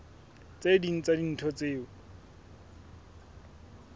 tse ding tsa dintho tseo